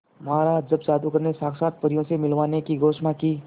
महाराज जब जादूगर ने साक्षात परियों से मिलवाने की घोषणा की